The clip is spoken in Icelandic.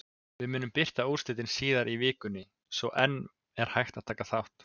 Við munum birta úrslitin síðar í vikunni svo enn er hægt að taka þátt!